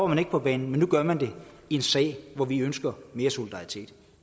man ikke på banen men nu er man det i en sag hvor vi ønsker mere solidaritet